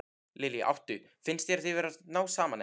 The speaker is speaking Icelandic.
Lillý: Áttu, finnst þér þið vera að ná saman, eða?